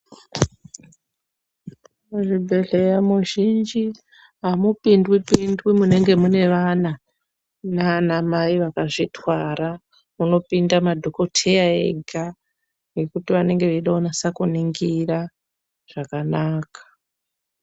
Muzvibhedhleya muzhinji, amupindwi-pindwi munenge mune vana, naanamai vakazvitwara. Munopinda madhokodheya ega ,nekuti vanenge veide kunasa kuningira, zvakanaka.